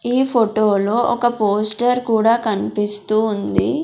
ఈ ఫొటో లో ఒక పోస్టర్ కూడా కన్పిస్తూ ఉంది.